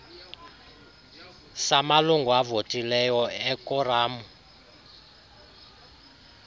samalungu avotileyo ekoramu